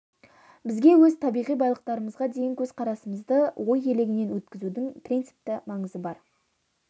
бізге өз табиғи байлықтарымызға деген көзқарасымызды ой елегінен өткізудің принципті маңызы бар